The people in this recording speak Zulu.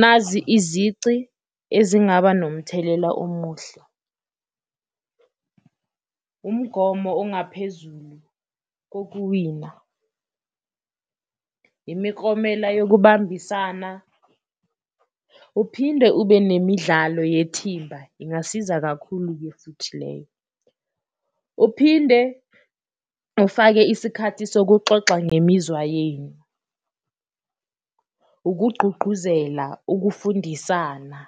Nazi izici ezingaba nomthelela omuhle, umgomo ongaphezulu kokuwina, imiklomela yokubambisana, uphinde ube nemidlalo yethimba ingasiza kakhulu-ke futhi leyo, uphinde ufake isikhathi sokuxoxa ngemizwa yenu, ukugqugquzela ukufundisana,